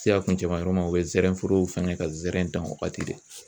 se a kuncɛ man yɔrɔ ma u bɛ zɛrɛnforo fɛngɛ ka zɛrɛn dan o wagati de.